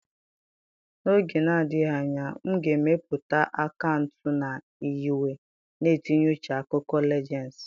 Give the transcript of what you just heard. N'oge na-adịghị anya, m ga-emepụta akaụntụ na nyiwe na-etinye uche akụkọ Legends.